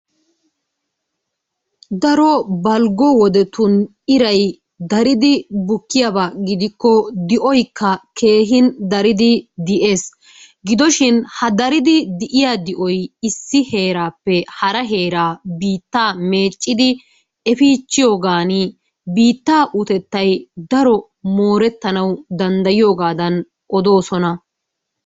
daro balggo wodetun iray daridi bukkiyaaba di'oykka keehin daridi di'ees. gidoshin ha dariddi di'iyaa di'oy issi heerappe hara heeraa biittaa meeccidi efichiyaagaan biitta uttetay daro moorettanaw danddayiyooga odosona.